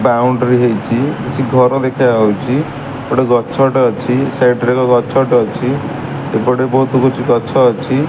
Boundary ହେଇଛି। କିଛି ଘର ଦେଖାଯାଉଚି ଗୋଟେ ଗଛ ଟେ ଅଛି ସାଇଡ ରେ ଏକ ଗଛ ଟେ ଅଛି। ଏପଟେ ବହୁତ କିଛି ଗଛ ଅଛି।